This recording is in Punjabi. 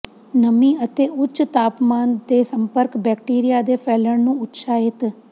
ਨਮੀ ਅਤੇ ਉੱਚ ਤਾਪਮਾਨ ਦੇ ਸੰਪਰਕ ਬੈਕਟੀਰੀਆ ਦੇ ਫੈਲਣ ਨੂੰ ਉਤਸ਼ਾਹਿਤ